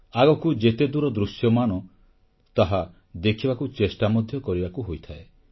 ଆଗକୁ ଯେତେ ଦୂର ଦୃଶ୍ୟମାନ ତାହା ଦେଖିବାକୁ ଚେଷ୍ଟା ମଧ୍ୟ କରିବାକୁ ହୋଇଥାଏ